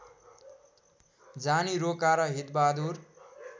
जानी रोका र हितबहादुर